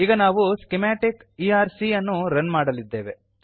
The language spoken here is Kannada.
ಈಗ ನಾವು ಸ್ಕಿಮಾಟಿಕ್ ಇಆರ್ಸಿ ಅನ್ನು ರನ್ ಮಾಡಲಿದ್ದೇವೆ